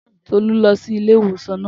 Tolú lọ sí ilé ìwòsàn naa